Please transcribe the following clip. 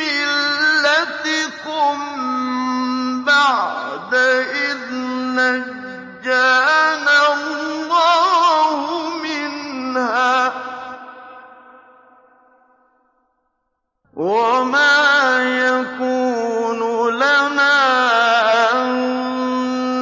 مِلَّتِكُم بَعْدَ إِذْ نَجَّانَا اللَّهُ مِنْهَا ۚ وَمَا يَكُونُ لَنَا أَن